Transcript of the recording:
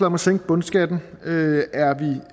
om at sænke bundskatten er